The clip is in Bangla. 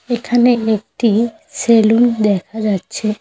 এখানে একটি সেলুন দেখা যাচ্ছে।